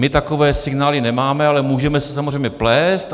My takové signály nemáme, ale můžeme se samozřejmě plést.